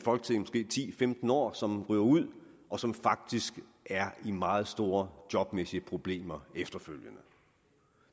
femten år og så ryger ud og som faktisk er i meget store jobmæssige problemer efterfølgende